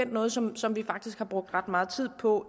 noget som som vi faktisk har brugt ret meget tid på